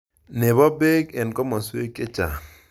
Nebo Bek eng komoswek chechang